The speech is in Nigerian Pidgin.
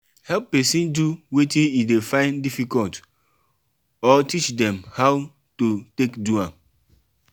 help persin do wetin e de find difficult or teach dem how to take do am